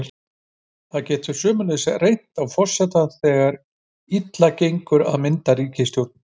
Þá getur sömuleiðis reynt á forseta þegar þegar illa gengur að mynda ríkisstjórn.